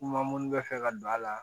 Kuma munnu bɛ fɛ ka don a la